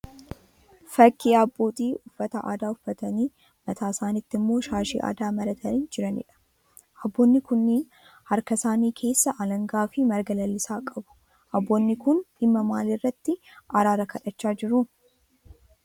Fakkii abbootii uffata aadaa uffatanii mataa isanitti immoo shaashii aadaa maratanii jiraniidha. Abboonni kunniin harka isaanii keessaa alangaa fi marga lalisaa qabu. Abboonni kun dhimma maalii irratti araara kadhachaa jiru?